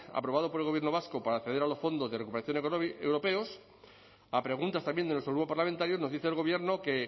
aprobado por el gobierno vasco para acceder a los fondos de recuperación europeos a preguntas también de nuestro grupo parlamentario nos dice el gobierno que